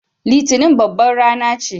Litinin babbar rana ce.